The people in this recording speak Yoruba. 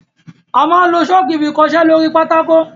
Amá n lo Ṣọ́ọ́kì fi kọ iṣẹ́ lóri pátákó.